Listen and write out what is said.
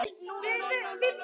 Þetta átti illa við